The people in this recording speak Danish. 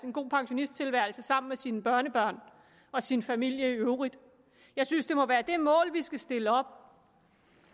en god pensionisttilværelse sammen med sine børnebørn og sin familie i øvrigt jeg synes det må være det mål vi skal stille op